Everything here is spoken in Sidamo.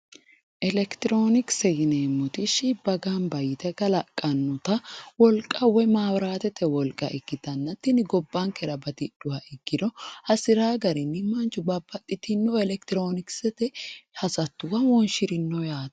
Elekitiroonikise yineemmoti shibba gamba yite kalaqannota wolqa woy maabiraatete wolqa ikkitanna tini gobbankera batidhuha ikkiha ikkiro hasiraa garinni manchu babbaxitino elekitiroonikisete hasattuwa wonshirino yaate.